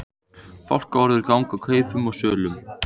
Fálkaorður ganga kaupum og sölum